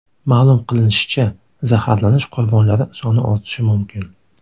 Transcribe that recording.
Ma’lum qilinishicha, zaharlanish qurbonlari soni ortishi mumkin.